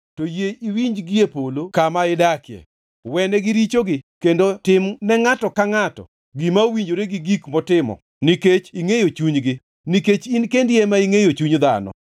to yie iwinji gie polo kama idakie. Wenegi richogi kendo tim ne ngʼato ka ngʼato gima owinjore gi gik motimo nikech ingʼeyo chunygi (nikech in kendi ema ingʼeyo chuny dhano),